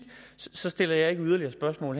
så stiller jeg ikke yderligere spørgsmål